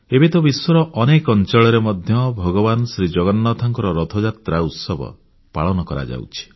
ଏବେ ତ ବିଶ୍ୱର ଅନେକ ଅଂଚଳରେ ମଧ୍ୟ ଭଗବାନ ଶ୍ରୀଜଗନ୍ନାଥଙ୍କ ରଥଯାତ୍ରା ଉତ୍ସବ ପାଳନ କରାଯାଉଛି